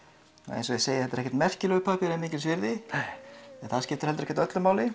eins og ég segi þetta ekki merkilegur pappír eða mikils virði en það skiptir ekki öllu máli